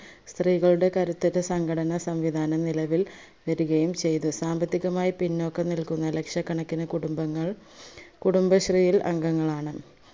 സ്ത്രീകളുടെ കരുത്തുറ്റ സംഘടനാ സംവിദാനം നിലവിൽ വരികയും ചെയ്തു സാമ്പത്തികമായി പിന്നോക്കം നിൽക്കുന്ന ലക്ഷകണക്കിന് കുടുംബങ്ങൾ കുടുംബശ്രീയിൽ അംഗങ്ങളാണ്